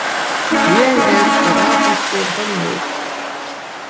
Ég er grafískur hönnuður.